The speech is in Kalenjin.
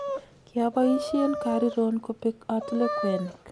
kiapoisien kariron kopek atile kwenik